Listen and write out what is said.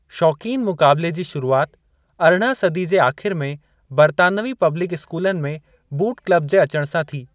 शौक़ीनु मुक़ाबिले जी शुरूआति अरिड़हं सदी जे आख़िर में बर्तानवी पब्लिक स्कूलनि में 'बूट क्लब जे अचणु सां थी ।